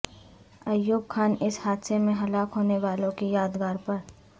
ایوب خان اس حادثے میں ہلاک ہونے والوں کی یادگار پر